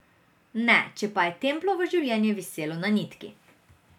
Ne, če pa je Templovo življenje viselo na nitki.